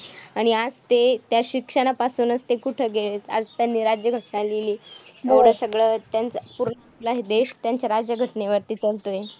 आणि आज ते त्या शिक्षणापासूनचं ते कुठे गेलेत. आज त्यांनी राज्यघटना लिहिली एवढं सगळं त्यांचं पूर्ण देश त्यांच्या राज्यघटनेवरती चालतोय.